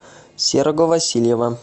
серого васильева